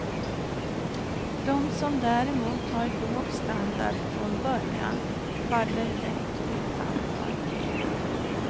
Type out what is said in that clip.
De som däremot har låg standard från början faller lätt utanför.